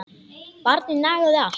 Barnið nagaði allt.